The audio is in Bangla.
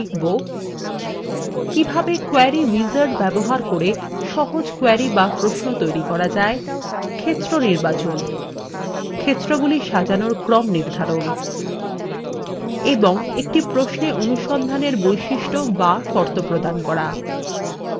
in tutorial আমরা শিখব কিভাবে query wizard ব্যবহার করে সহজ query বা প্রশ্ন তৈরী করা যায় ক্ষেত্র নির্বাচন ক্ষেত্রগুলি সাজানোর ক্রম নির্ধারণ এবং একটি প্রশ্নে অনুসন্ধানের বৈশিষ্ট বা শর্ত প্রদান করা